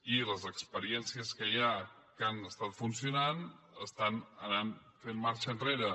i les experiències que hi ha que han estat funcionant estan fent marxa enrere